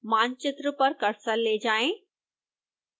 मानचित्र पर कर्सर ले जाएं